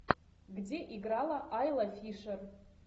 где играла айла фишер